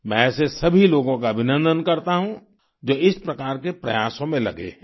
मैं ऐसे सभी लोगों का अभिनन्दन करता हूँ जो इस प्रकार के प्रयासों में लगे हैं